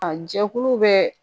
A jɛkulu bɛɛ